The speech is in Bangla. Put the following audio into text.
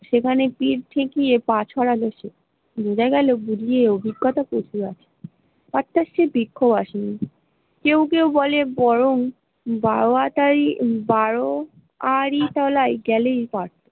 সেখানে পিঠ ঠিকিয়ে পা ছড়া দিছে, বুঝে গেল বুড়ি র অভিগত্যা প্রচুর আছে, কেউ কেউ বলে বরং বাউয়া তাই বারুয়াড়ি তলায় গেলেই।